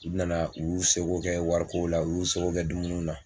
U nana u y'u se ko kɛ warikow la u y'u se ko kɛ dumuniw na